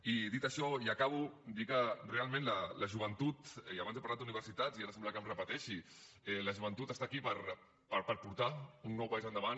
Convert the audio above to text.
i dit això i acabo dir que realment la joventut i abans he parlat d’universitats i ara sembla que em repeteixi està aquí per portar un nou país endavant